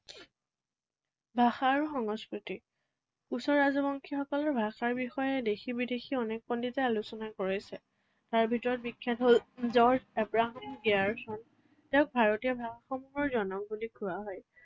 ভাষা আৰু সংস্কৃতি। কোচ ৰাজবংশীসকলৰ ভাষাৰ বিষয়ে দেশী বিদেশী অনেক পণ্ডিতে আলোচনা কৰিছে। তাৰ ভিতৰত বিখ্যাত হল জৰ্জ আব্ৰাহম দেয়াৰছন। তেওঁক ভাৰতীয় ভাষাসমূহৰ জনক বুলি কোৱা হয়।